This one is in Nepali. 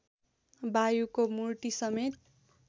वायुको मूर्ती समेत